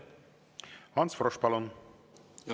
Ants Frosch, palun!